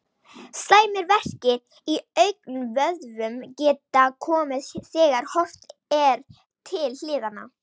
Slæmir verkir í augnvöðvum geta komið þegar horft er til hliðanna.